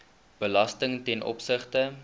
belasting ten opsigte